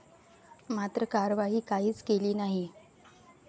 मात्र कार्यवाही काहीच केली नाही.